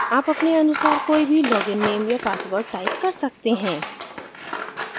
आप अपने अनुसार कोई भी login नेम या password type कर सकते हैं